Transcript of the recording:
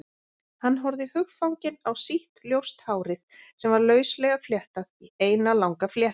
Hann horfði hugfanginn á sítt, ljóst hárið sem var lauslega fléttað í eina langa fléttu.